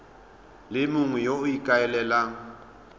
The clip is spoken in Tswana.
le mongwe yo o ikaelelang